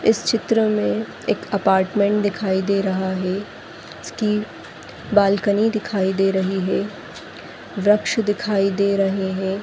इस चित्र मे एक अपार्टमेंट दिखाई दे रहा है इसकी बालकनी दिखाई दे रही है वरकक्ष दिखाई दे रहे है।